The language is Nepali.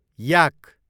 याक